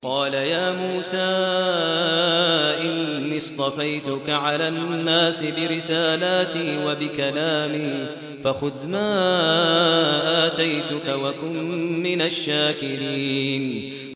قَالَ يَا مُوسَىٰ إِنِّي اصْطَفَيْتُكَ عَلَى النَّاسِ بِرِسَالَاتِي وَبِكَلَامِي فَخُذْ مَا آتَيْتُكَ وَكُن مِّنَ الشَّاكِرِينَ